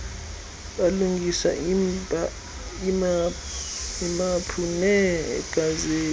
balungisa iimaphu neegazethi